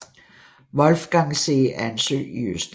Wolfgangsee er en sø i Østrig